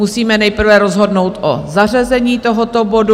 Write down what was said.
Musíme nejprve rozhodnout o zařazení tohoto bodu.